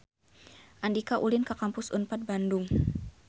Andika ulin ka Kampus Unpad Bandung